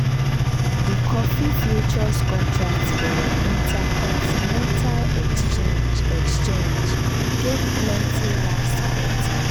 di coffee futures contract for intercontinental exchange exchange gain plenty last quarter.